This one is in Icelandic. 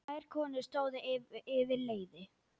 Tvær konur stóðu yfir leiði.